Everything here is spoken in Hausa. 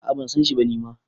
A` a ban san shi ba ni ma